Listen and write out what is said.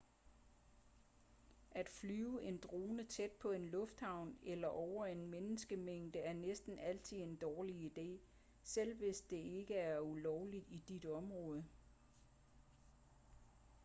at flyve en drone tæt på en lufthavn eller over en menneskemængde er næsten altid en dårlig idé selv hvis det ikke er ulovligt i dit område